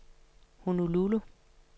Honolulu